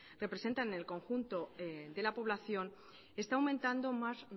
representan en el conjunto de la población está aumentando más